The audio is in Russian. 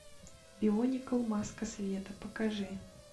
бионикл маска света покажи